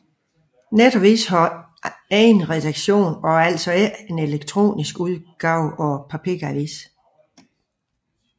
Netavisen har egen redaktion og er altså ikke en elektronisk udgave af papiravisen